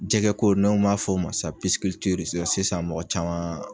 Jɛgɛ ko naw m'a fɔ ma sisan sisan mɔgɔ caman.